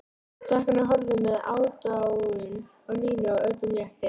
Krakkarnir horfðu með aðdáun á Nínu og öllum létti.